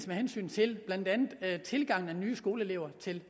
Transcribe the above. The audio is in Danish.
med hensyn til blandt andet tilgangen af nye skoleelever til